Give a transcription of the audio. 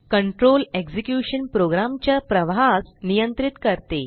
control execution program च्या प्रवाहास नियंत्रित करते